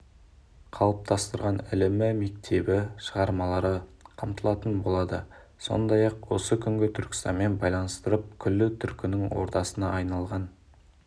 қалыптастырған ілімі мектебі шығармалары қамтылатын болады сондай-ақ осы күнгі түркістанмен байланыстырып күллі түркінің ордасына айналған